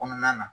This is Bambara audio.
Kɔnɔna na